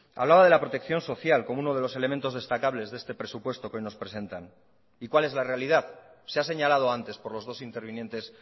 hablaba de la protección social como uno de los elementos destacables de este presupuesto que hoy nos presentan y cuál es la realidad se ha señalado antes por los dos intervinientes